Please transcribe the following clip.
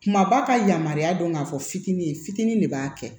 Kumaba ka yamaruya dɔn k'a fɔ fitinin ye fitinin de b'a kɛ